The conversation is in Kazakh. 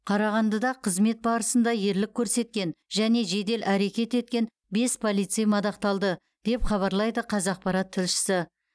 қарағандыда қызмет барысында ерлік көсеткен және жедел әрекет еткен бес полицей мадақталды деп хабарлайды қазақпарат тілшісі